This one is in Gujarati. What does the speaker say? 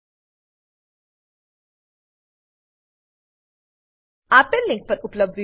આપેલ લીંક પર ઉપલબ્ધ વિડીયો નિહાળો